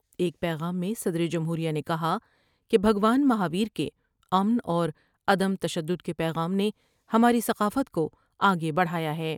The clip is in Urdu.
ایک پیغام میں صدر جمہوریہ نے کہا کہ بھگوان مہاویر کے امن اور عدم تشدد کے پیغام نے ہماری ثقافت کو آگے بڑھایا ہے ۔